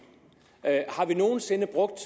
har vi nogen sinde brugt